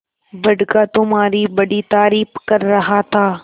बड़का तुम्हारी बड़ी तारीफ कर रहा था